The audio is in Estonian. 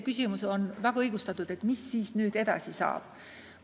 Küsimus, mis nüüd edasi saab, on väga õigustatud.